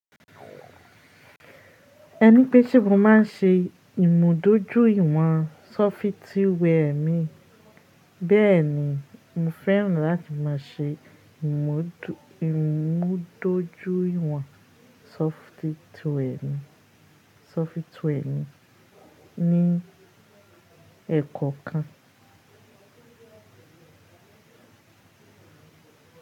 Ẹni pé tí mo má ń ṣe ìmùdójúìwọ̀n sọfitíwẹ́ẹ̀ mi bẹ́ẹ̀ ni, mo fẹ́ràn láti má a ṣe ìmùdójúìwọ̀n sọfitíwẹ́ẹ̀ mi ní ẹ́kọ́ kan.